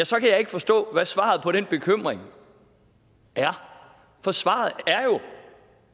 så kan jeg ikke forstå hvad svaret på den bekymring er for svaret er jo